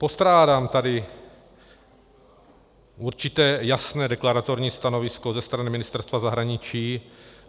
Postrádám tady určité jasné deklaratorní stanovisko ze strany Ministerstva zahraničí.